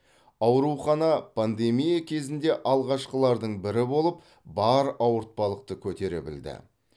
аурухана пандемия кезінде алғашқылардың бірі болып бар ауыртпалықты көтере білді